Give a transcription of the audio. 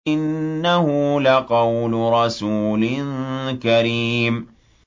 إِنَّهُ لَقَوْلُ رَسُولٍ كَرِيمٍ